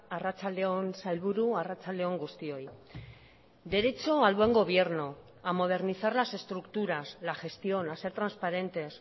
arratsalde on sailburu arratsalde on guztioi derecho al buen gobierno a modernizar las estructuras la gestión a ser transparentes